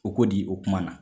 O ko di o kuma na?